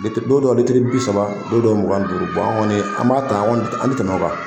Litiri don dɔ litiri bi saba don dɔ mugan duuru an kɔni an b'a ta an kɔni an tɛ tɛmɛ o kan.